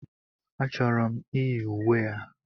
A chọrọ m iyi uwe a.